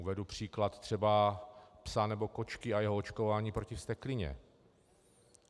Uvedu příklad třeba psa nebo kočky a jeho očkování proti vzteklině.